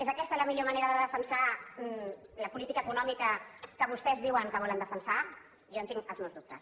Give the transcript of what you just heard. és aquesta la millor manera de defensar la política econòmica que vostès diuen que volen defensar jo en tinc els meus dubtes